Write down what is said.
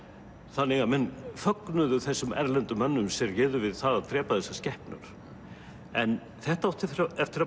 þannig að menn fögnuðu þessum erlendu mönnum sem réðu við það að drepa þessar skepnur en þetta átti eftir að